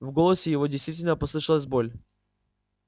в голосе его действительно послышалась боль